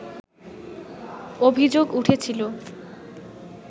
অভিযোগ উঠেছিল